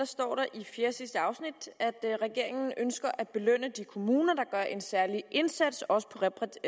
står der i fjerdesidste afsnit at regeringen ønsker at belønne de kommuner der gør en særlig indsats også på